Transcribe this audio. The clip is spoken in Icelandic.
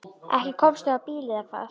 Ekki komstu á bíl eða hvað?